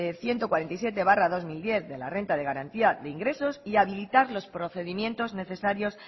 ciento cuarenta y siete barra dos mil diez de la renta de garantía de ingresos y habilitar los procedimientos necesarios